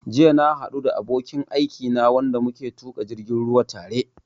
Jiya na haɗu da abokin aikina wanda muke tuƙa jirgin ruwa tare